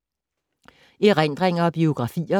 Erindringer og biografier